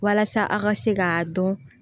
Walasa a ka se k'a dɔn